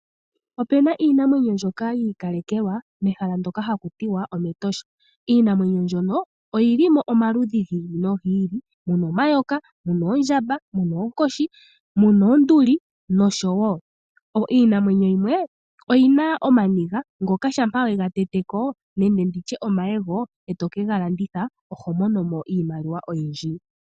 Opuna iinamwenyo mbyoka yi ikalekelwa mehala ndoka haku tiwa omEtosha, iinamwenyo mbyono oyili mo omaludhi gi ili nogi ili muna omayoka, muna oondjamba, muna oonkoshi, muna oonduli nosho woo. Iinamwenyo yimwe oyina ooniga ndhoka shampa wedhi tete ko nenge nditye omayego etokega landitha oho mono mo iimaliwa oyindji.